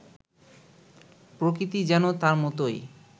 প্রকৃতি যেন তার মতোই